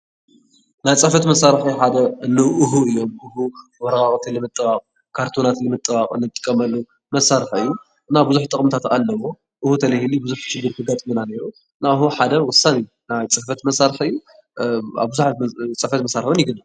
ናይ ፅሕፈት መሳርሒ ሓደ እኒ ኡሁ እዮም፡፡ ኡሁ ወረቓቕቲ ንምጥባቕ፣ ካርቶናት ንምጥባቕ እንጥቀመሉ መሳርሒ እዩ፡፡ እና ብዙሕ ጥቕምታት ኣለዉዎ፡፡ ኡሁ እንተይህሉ ብዙሕ ሽግር ከጋጥመና ነይሩ፡፡ እና ኡሁ ሓደ ወሳኒ ናይ ፅሕፈት መሳርሒ እዩ፡፡ ኣብቡዙሓት ፅሕፈት መሳርሒ እውን ይግነ።